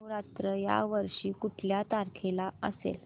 नवरात्र या वर्षी कुठल्या तारखेला असेल